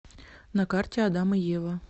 на карте адам и ева